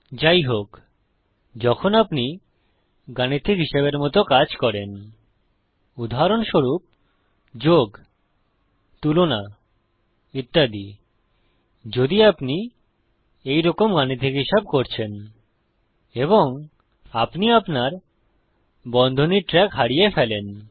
যাইহোক যখন আপনি গাণিতিক হিসাবের মত কাজ করেন উদাহরণস্বরূপ যোগ তুলনা ইত্যাদিযদি আপনি এই রকম গাণিতিক হিসাব করছেন এবং আপনি আপনার বন্ধনীর ট্রেক হারিয়ে ফেলেন